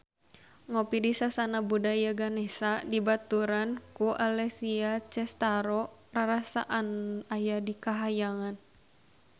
Ngopi di Sasana Budaya Ganesha dibaturan ku Alessia Cestaro rarasaan aya di kahyangan